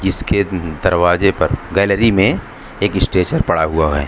जिसके दरवाजे पर गैलरी में एक स्ट्रेचर पड़ा हुआ है।